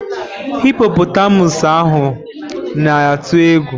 Hipọpọtamụsụ ahu na-atụ egwu.